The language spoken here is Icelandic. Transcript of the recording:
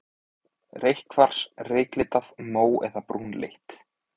Reykkvars, reyklitað, mó- eða brúnleitt.